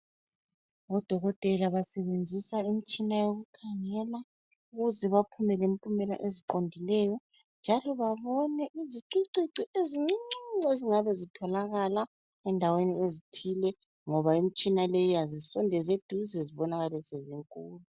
Odokotela basebenzisa imitshina yokukhangela ukuze baphume lempumela eziqondileyo njalo babone izicucucu ezincuncuncu ezingabane zitholakala endaweni ezithile ngoba imitshina leyi iyazisondeza eduze zibonakale sezinkulu.